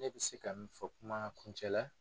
Ne bɛ se ka min fɔ kuma kuncɛ la.